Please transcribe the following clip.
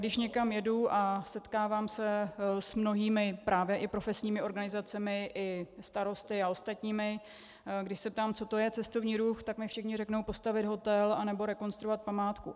Když někam jedu a setkávám se s mnohými právě i profesními organizacemi i starosty a ostatními, když se ptám, co to je cestovní ruch, tak mi všichni řeknou: postavit hotel nebo rekonstruovat památku.